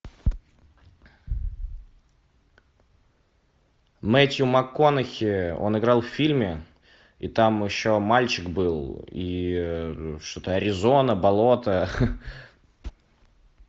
мэттью макконахи он играл в фильме и там еще мальчик был и что то аризона болото